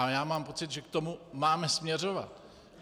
A já mám pocit, že k tomu máme směřovat.